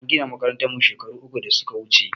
An gina makarantan mu shekaru uku da suka wuche